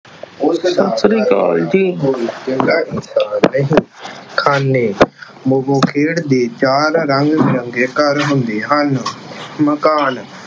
ਸਤਿ ਸ੍ਰੀ ਅਕਾਲ ਜੀ, ਖਾਨੇ- ਮੋਗੋ ਖੇਡ ਦੇ ਚਾਰ ਰੰਗ ਬਿਰੰਗੇ ਘਰ ਹੁੰਦੇ ਹਨ। ਮਕਾਨ-